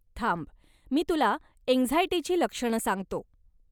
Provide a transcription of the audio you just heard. थांब, मी तुला अँक्झाइटीची लक्षणं सांगतो.